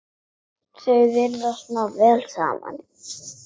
Þau virðast ná vel saman.